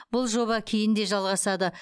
бұл жоба кейін де жалғасады